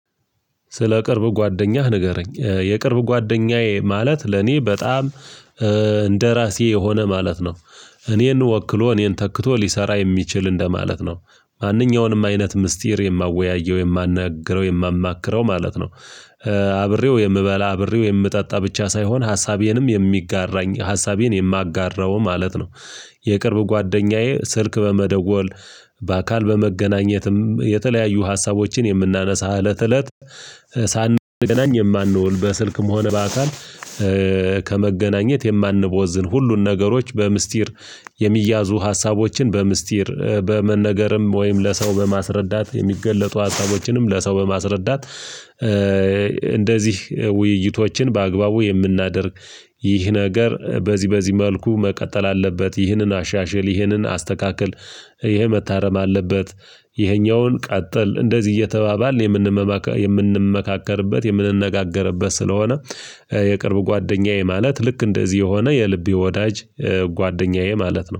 ስለ ቅርብ ጓደኛህ ንገረኝ የቅርብ ጓደኛዬ ማለት ለኔ በጣም እንደራሴ የሆነ ማለት ነው። እኔን ወክሎ እኔን ተክቶ ሊሰራ የሚችል እንደማለት ነው ማንኛውንም አይነት ምስጢር የማወያየው የማናግረው የማማክረው ማለት ነው። አብሬው የምበላ አብሬው የምጠጣ ብቻ ሳይሆን ሀሳቤንም የሚጋራኝ ሀሳቤን የማጋራው ማለት ነው። የቅርብ ጓደኛዬ ስልክ በመደወል በአካል በመገናኘትም የተለያዩ ሀሳቦችን የምናነሳ እለት እለት ሳንገናኝ የማንውል በስልክም ሆነ በአካል። ከመገናኘት የማንቦዝን ሁሉን ነገሮች በሚስጢር የሚያዙ ሀሳቦችን በሚስጢር በመነገርም ወይም ለሰው በማስረዳት የሚገለጡ ሀሳቦችንም ለሰው በማስረዳት። እንደዚህ ውይይቶችን በአግባቡ የምናደርግ ይህ ነገር በዚህ በዚህ መልኩ መቀጠል አለበት። ይህንን አሻሽል ይህንን አስተካክል ይሄ መታረም አለበት። ይሄኛውን ቀጠል እንደዚህ እየተባባል የምንመካከርበት የምንነጋገርበት ስለሆነ። የቅርብ ጓደኛዬ ማለት ልክ እንደዚህ የሆነ የልቤ ወዳጅ ጓደኛዬ ማለት ነው